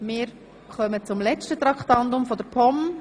Wir kommen zum letzten Traktandum der POM.